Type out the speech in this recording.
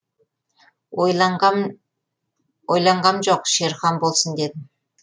ойланғам жоқ шерхан болсын дедім